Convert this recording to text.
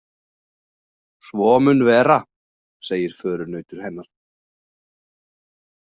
Svo mun vera, segir förunautur hennar.